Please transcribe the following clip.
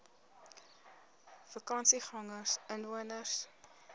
vakansiegangersinwoners